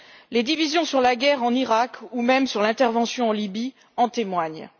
Les divisions sur la guerre en Iraq ou même sur l'intervention en Libye en témoignent.